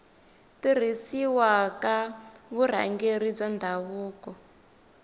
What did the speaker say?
tirhisiwa ka vurhangeri bya ndhavuko